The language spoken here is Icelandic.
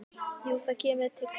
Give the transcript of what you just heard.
Jú, það kemur til greina.